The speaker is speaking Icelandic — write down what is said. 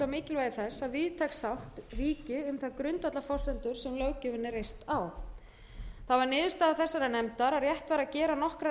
mikilvægi þess að víðtæk sátt ríki um þær grundvallarforsendur sem löggjöfin er reist á það var niðurstaða þessarar nefndar að rétt væri að gera nokkrar